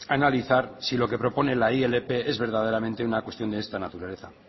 analizar si lo que propone la ilp es verdaderamente una cuestión de esta naturaleza